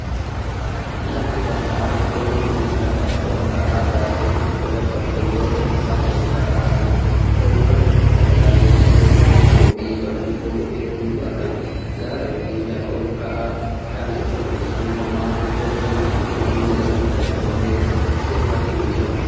Lafti bal'aan hurufni kun lafa ol ka'aa gaarreen irratti argamu yoo ta'u, lafa ol ka'aa kana irra dhagaalee guguddoo fi babal'oo hedduutu argama. Gaara yokin lafa ol ka'aa kana irra biqiltuun homaa yokin biqiloonni magariisni tokko illee irra hin jiran.